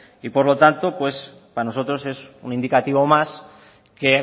y por lo tanto para nosotros es un indicativo más que